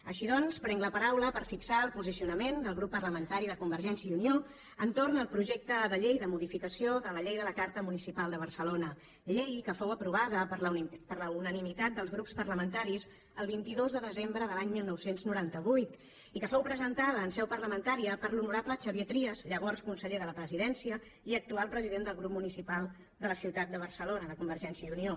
així doncs prenc la paraula per fixar el posicionament del grup parlamentari de convergència i unió entorn del projecte de llei de modificació de la llei de la carta municipal de barcelona llei que fou aprovada per la unanimitat dels grups parlamentaris el vint dos de desembre de l’any dinou noranta vuit i que fou presentada en seu parlamentària per l’honorable xavier trias llavors conseller de la presidència i actual president del grup municipal de la ciutat de barcelona de convergència i unió